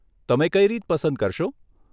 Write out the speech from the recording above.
તમે કઈ રીત પસંદ કરશો?